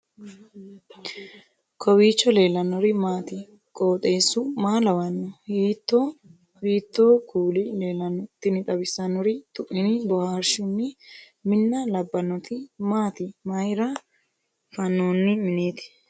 kowiicho leellannori maati ? qooxeessu maa lawaanno ? hiitoo kuuli leellanno ? tini xawissannori tuini boohaarshshun minna labbbannoti maati mayra fannooonni minnati